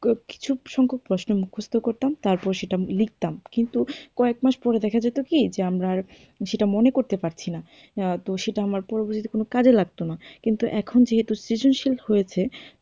কিছু কিছু প্রশ্ন মুখস্ত তারপর সেটা লিখতাম কিন্তু কয়েক মাস পরে দেখা যেত কি যে আমরা আর সেটা মনে করতে পারছি না, তো সেটা আমার তো কোনো কাজে লাগতো না তো এখন যেহেতু সৃজনশীল হয়েছে,